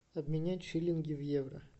обменять шиллинги в евро